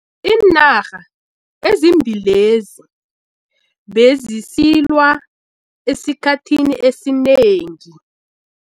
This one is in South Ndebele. Iinarha ezimbili lezi bezisilwa esikhathini esinengi.